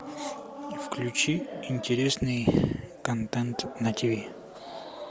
включи интересный контент на тв